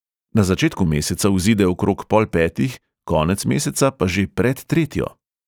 Na začetku meseca vzide okrog pol petih, konec meseca pa že pred tretjo.